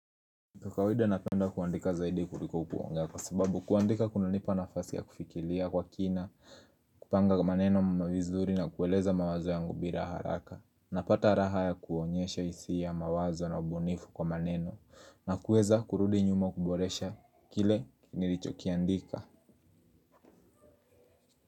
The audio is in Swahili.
Kwa kawaida napenda kuandika zaidi kuliko kukuwanga kwa sababu kuandika kuna nipa nafasi ya kufikiria kwa kina, kupanga kwa maneno mamavizuri na kueleza mawazo yangu bira haraka. Napata raha ya kuonyesha isia mawazo na ubunifu kwa maneno na kueza kurudi nyuma kuboresha kile nilichokiandika.